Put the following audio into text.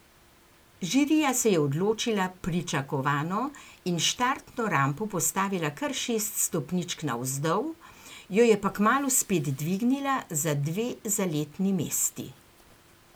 Žirija se je odločila pričakovano in štartno rampo postavila kar šest stopničk navzdol, jo je pa kmalu spet dvignila za dve zaletni mesti.